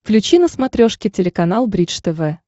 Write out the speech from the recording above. включи на смотрешке телеканал бридж тв